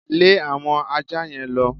Lẹ́ àwọn aja yẹn lọ!